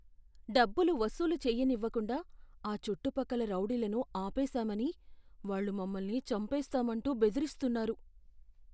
డబ్బులు వసూలు చేయనివ్వకుండా ఆ చుట్టుపక్కల రౌడీలను ఆపేసామని వాళ్ళు మమ్మల్ని చంపేస్తామంటూ బెదిరిస్తున్నారు.